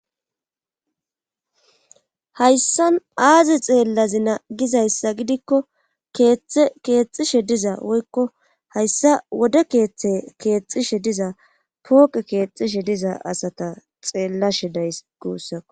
hayssa aazi xeellazi na gizayssa gidikko keeththe keexxishe diza woykko hayssa wode keeththe keexishe diza pooqe keexishe diza asata xeellashe days guussako